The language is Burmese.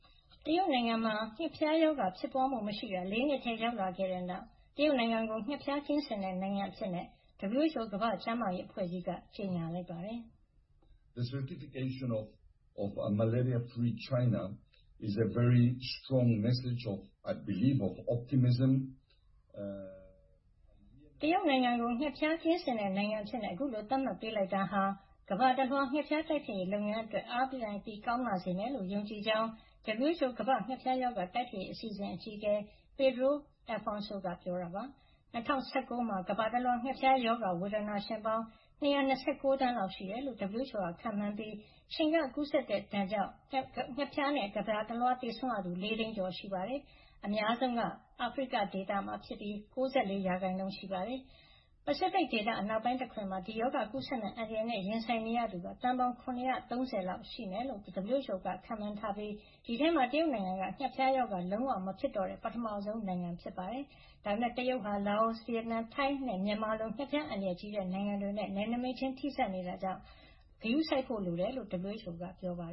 တရုတ်နိုင်ငံမှာ ငှက်ဖျားရောဂါ ဖြစ်ပွါးမှု မရှိတာ ၄ နှစ်ထဲ ရောက်လာခဲ့တဲ့နောက် တရုတ်နိုင်ငံကို ငှက်ဖျားကင်းစင်တဲ့ နိုင်ငံ အဖြစ် WHO ကမ္ဘာ့ကျန်းမာရေး အဖွဲ့ကြီးက ကြေညာလိုက်ပါတယ်။ တရုတ်နိုင်ငံကို ငှက်ဖျားကင်းစင်တဲ့ နိုင်ငံအဖြစ် အခုလို သတ်မှတ်ပေးလိုက်တာဟာ ကမ္ဘာတလွှား ငှက်ဖျားတိုက်ဖျက်ရေး လုပ်ငန်းအတွက် အားပြန်ကောင်းလာစေမယ်လို့ သူယုံကြည်ကြောင်း WHO ရဲ့ ကမ္ဘာ့ငှက်ဖျားရောဂါ တိုက်ဖျက်ရေး အစီအစဉ် အကြီးအကဲ Pedro Alfonso က ပြောကြားလိုက်ပါတယ်။ ၂၀၁၉ ခုနှစ်ထဲမှာ ကမ္ဘာတလွှား ငှက်ဖျား ရောဂါ ဝေဒနာရှင်ပေါင်း ၂၂၉ သန်းလောက် ရှိတယ်လို့ WHO က ခန့်မှန်းထားတာ ဖြစ်ပြီး ခြင်ကနေကူးစက် ဖြစ်ပွါးတဲ့ ငှက်ဖျားဒဏ်ကြောင့် ကမ္ဘာတလွှား သေဆုံးရသူ ၄ သိန်းကျော်ရှိတယ်လို့ ပြောပါတယ်။ ကမ္ဘာ့ငှက်ဖျားရောဂါဖြစ်ပွါးမှုအားလုံးရဲ့ ၉၄ % ဟာ အာဖရိကဒေသကဖြစ်ပါတယ်။ ပစိဖိတ်ဒေသအနောက်ပိုင်းတခွင်မှာ တော့ ဒီရောဂါကူးစက်မယ့် အန္တရာယ်နဲ့ ရင်ဆိုင်နေရသူက သန်းပေါင်း ၇၃၀ လောက်ရှိမယ်လို့ WHO က ခန့်မှန်းထားတာ ဖြစ်ပြီး ဒီဒေသထဲမှာ တရုတ်နိုင်ငံက ငှက်ဖျားရောဂါ လုံးဝမဖြစ်တော့တဲ့ ပထမဆုံ နိုင်ငံဖြစ်တယ်လို့လည်း ပြောပါတယ်။ ဒါပမယ့် တရုတ်နိုင်ငံဟာ လာအို၊ ဗီယက်နမ်း၊ ထိုင်းနဲ့ မြန်မာတို့လို ငှက်ဖျား အန္တရာယ်ကြီးတဲ့ နိုင်ငံတွေနဲ့ နယ်နိမိတ်ချင်း ထိစပ်နေတာ ဖြစ်တဲ့ အတွက် အန္တရာယ်တော့ ရှိနေသေးတာကြောင့် မှန်ကန်တဲ့ စီမံခန့်ခွဲမှုနဲ့ ဂရုစိုက်ဖို့ လိုအပ်ကြောင်း WHO က ပြောပါတယ်။